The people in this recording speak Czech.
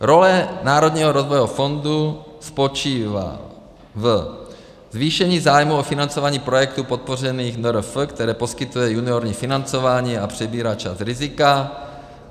Role Národního rozvojového fondu spočívá ve zvýšení zájmu o financování projektů podpořených NRF, které poskytuje juniorní financování, a přebírá část rizika.